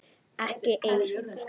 Ekki ein.